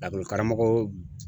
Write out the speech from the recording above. Lakɔlikaramɔgɔ